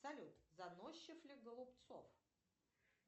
салют заносчив ли голубцов